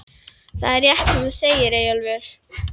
Það er rétt sem þú segir, Eyjólfur.